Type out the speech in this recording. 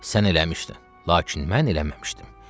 Sən eləmişdin, lakin mən eləməmişdim.